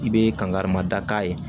I bɛ kangari ma da k'a ye